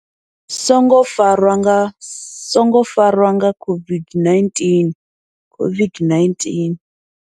Songo farwa nga songo farwa nga COVID-19 COVID-19.